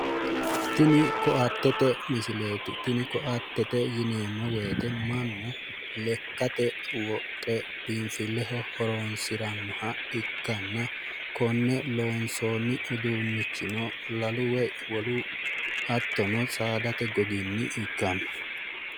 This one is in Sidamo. Tini koatete misileeti. Koatete yineemmo woyite mannu lekkate wodhe biinfilleho horonsirannoha ikkanna. Konne loonsoonnihuno lalu woyi hattono saadate goginni ikkanno.